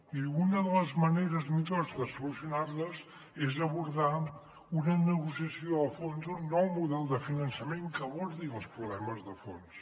i una de les maneres millors de solucionar la és abordar una negociació a fons d’un nou model de finançament que abordi els problemes de fons